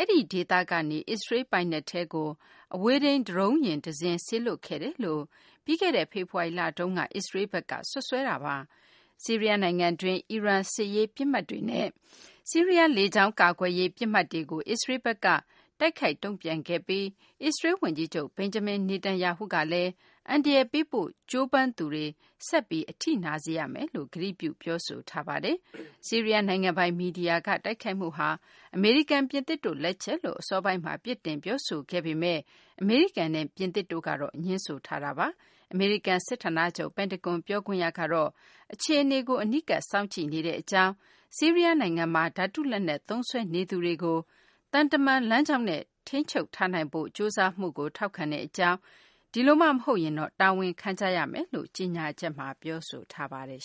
အဲဒီဒေသကနေ အစ္စရေးလ် ပိုင်နက်ထဲကို အဝေးထိန်း ဒရုန်းယာဉ်တစင်း စေလွှတ်ခဲ့တယ်လို့ ပြီးခဲ့တဲ့ ဖေဖော်ဝါရီလ တုန်းက အစ္စရေးလ်ဘက်က စွပ်စွဲခဲ့တာပါ။ ဆီးရီးယားနိုင်ငံတွင်းက အီရန် စစ်ရေး ပစ်မှတ်တွေနဲ့ ဆီးရီးယား လေကြောင်းကာကွယ်ရေး ပစ်မှတ်တွေကို အစ္စရေးလ်ဘက်က တိုက်ခိုက် တုံ့ပြန်ခဲ့ပြီး အစ္စရေးလ် ဝန်ကြီးချုပ် Benjamin Netanyahu ကလည်း အန္တရာယ်ပေးဖို့ ကြိုးပမ်းသူတွေ ဆက်ပြီး အထိနာစေရမယ်လို့ ကတိပြု ပြောဆိုထားတာပါ။ ဆီးရီးယား နိုင်ငံပိုင် မီဒီယာက တိုက်ခိုက်မှုဟာ အမေရိကန်၊ ပြင်သစ်တို့ လက်ချက်လို့ အစောပိုင်းမှာ ပြစ်တင် ပြောဆိုခဲ့တာ ဖြစ်ပေမယ့် အမေရိကန်နဲ့ ပြင်သစ်တို့က ငြင်းဆိုခဲ့တာပါ။ အမေရိကန် စစ်ဌာနချုပ် ပင်တဂွန် ပြောခွင့်ရ Christopher Sherwood ကတော့ အခြေအနေကို အနီးကပ် စောင့်ကြည့်နေကြောင်း၊ ဆီးရီးယား နိုင်ငံမှာ ဓာတုလက်နက်သုံးစွဲနေသူတွေကို သံတမန် လမ်းကြောင်းနဲ့ ထိန်းချုပ်ထားနိုင်ဖို့ ကြိုးစားမှုကို ထောက်ခံကြောင်းနဲ့ ဒီလိုမှမဟုတ်ရင်တော့ တာဝန်ခံကြရမယ်လို့ ကြေညာချက်မှာ ပြောဆိုထားပါတယ်